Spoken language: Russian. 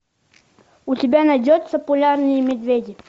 у тебя найдется полярные медведи